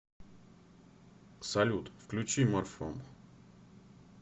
салют включи морфом